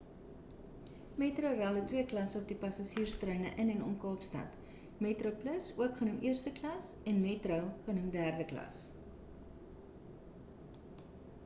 metrorail het twee klasse op passasierstreine in en om kaapstad: metroplus ook genoem eerste klas en metro genoem derde klas